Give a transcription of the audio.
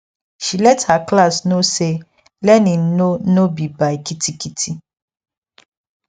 she let her class no say learning no no be by kitikiti